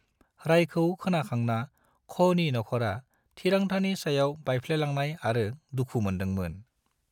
रायखौ खोनाखांना, ख'नि नख'रा थिरांथानि सायाव बायफ्लेलांनाय आरो दुखु मोन्दोंमोन।